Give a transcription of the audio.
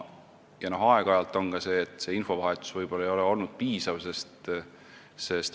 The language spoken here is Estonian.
Aeg-ajalt on ka seda ette tulnud, et infovahetus ei ole võib-olla piisav olnud.